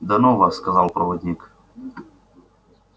да ну вас сказал проводник